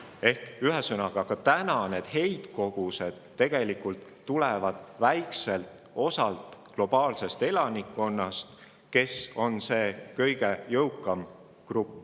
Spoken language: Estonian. Ehk siis ka täna tulevad heitkogused peamiselt väikeselt osalt globaalsest elanikkonnast, kes on see kõige jõukam grupp.